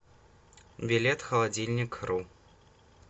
билет холодильникру